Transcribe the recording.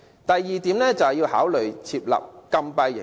第二點，考慮設立禁閉營。